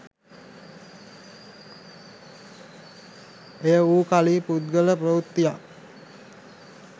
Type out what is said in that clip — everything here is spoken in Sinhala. එය වූ කලි පුද්ගල ප්‍රවෘත්තියක්